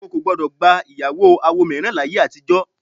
Awo kò gbọ́dọ̀ gba ìyàwó awo mìíràn láyé àtijọ́